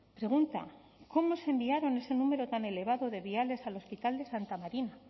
pregunta cómo se enviaron ese número tan elevado de viales al hospital de santa marina